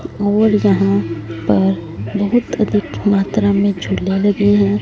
और जहां पर बहोत अधिक मात्रा में झूले लगी है।